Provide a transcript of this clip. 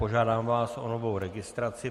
Požádám vás o novou registraci.